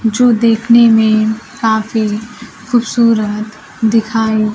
जो देखने में काफी खूबसूरत दिखाई--